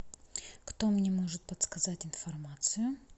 кто мне может подсказать информацию